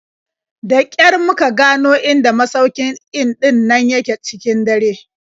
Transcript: Da ƙyar muka gano inda masaukin in ɗin nan yake cikin dare.